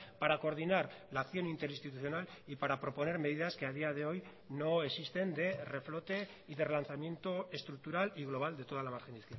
para coordinar la acción interinstitucional y para proponer medidas que a día de hoy no existen de reflote y de relanzamiento estructural y global de toda la margen